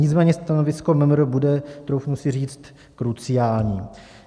Nicméně stanovisko MMR bude, troufnu si říct, kruciální.